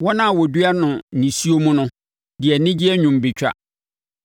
Wɔn a wɔdua no nisuo mu no de anigyeɛ nnwom bɛtwa.